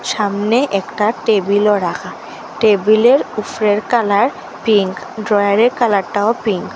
ছামনে একটা টেবিলও রাখা টেবিলের উফরের কালার পিঙ্ক ড্রয়ারের কালারটাও পিঙ্ক ।